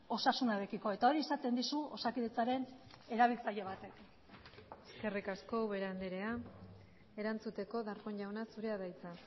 osasunarekiko eta hori esaten dizu osakidetzaren erabiltzaile batek eskerrik asko ubera andrea erantzuteko darpón jauna zurea da hitza